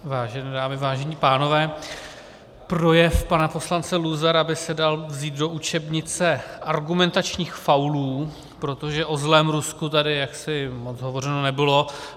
Vážené dámy, vážení pánové, projev pana poslance Luzara by se dal vzít do učebnice argumentačních faulů, protože o zlém Rusku tady jaksi moc hovořeno nebylo.